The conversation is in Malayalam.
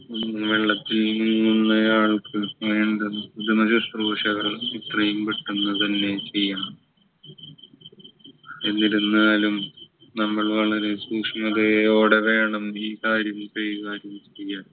ഉം വെള്ളത്തിൽ വീഴുന്നയാൾക്ക് വേണ്ടത് പ്രഥമ ശുശ്രൂഷകൾ എത്രയും പെട്ടെന്ന് തന്നെ ചെയ്യണം എന്നിരുന്നാലും നമ്മൾ വളരെ സൂക്ഷ്മതയോടെ വേണം ഈ കാര്യം കൈകാര്യം ചെയ്യാൻ